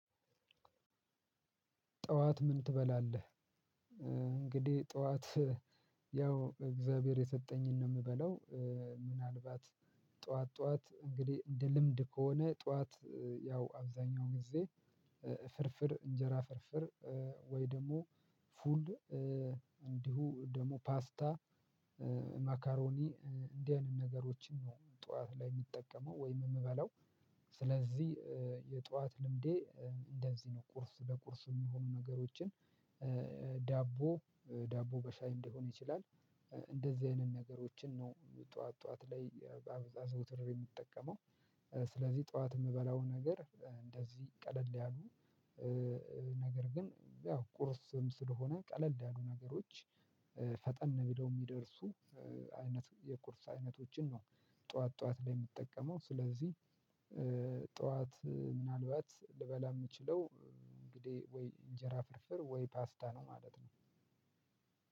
ጠዋት ምን ትበላለህ? እንግዲህ ጠዋት ያው እግዚአብሔር የሰጠኝን ነው የምበለው። ምናልባት ጠዋት ጠዋት እንግዲህ እንደ ልምድ ከሆነ ጠዋት ያው አብዛኛውን ጊዜ። ፍርፍር እንጀራ ፍርፍር ወይ ደግሞ ፉል እንዲሁም ደግሞ ፓስታ። ማካሮኒ እንዲህ አይነት ነገሮችን ነው ጠዋት ላይ የምጠቀመው ወይም የምበለው። ስለዚህ የጠዋት ልምዴ እንደዚህ ነው። ቁርስ ለቁርስ የሚሆኑ ነገሮችን ዳቦ ዳቦ በሻይ ሊሆን ይችላል። እንደዚህ አይነት ነገሮችን ነው ጠዋት ጠዋት ላይ አዘውትሬ የምጠቀመው። ስለዚህ ጠዋት የምበላው ነገር እንደዚህ ቀለል ያሉ። ነገር ግን ያው ቁርስም ስለሆነ ቀለል ያሉ ነገሮች ፈጠን ብለው የሚደርሱ አይነት የቁርስ አይነቶችን ነው። ጠዋት ላይ የምጠቀመው። ስለዚህ እ ጠዋት ምናልባት ልበላ የምችለው እንግዲህ ወይ እንጀራ ፍርፍር ወይ ፓስታ ነው ማለት ነው።